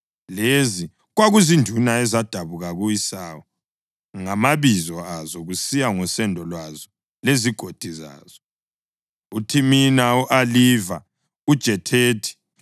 Lezi kwakuzinduna ezadabuka ku-Esawu, ngamabizo azo, kusiya ngosendo lwazo lezigodi zazo: UThimina, u-Aliva, uJethethi,